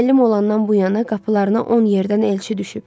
Müəllim olandan bu yana qapılarına on yerdən elçi düşüb.